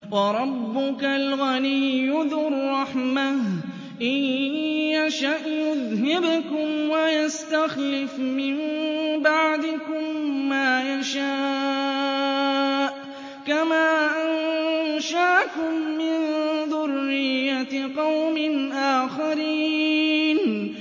وَرَبُّكَ الْغَنِيُّ ذُو الرَّحْمَةِ ۚ إِن يَشَأْ يُذْهِبْكُمْ وَيَسْتَخْلِفْ مِن بَعْدِكُم مَّا يَشَاءُ كَمَا أَنشَأَكُم مِّن ذُرِّيَّةِ قَوْمٍ آخَرِينَ